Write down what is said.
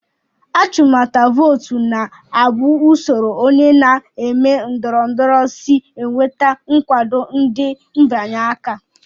Achụmnta vootu na-abụ usoro onye na-eme ndọrọndọrọ si enweta nkwado ndị mbịanye aka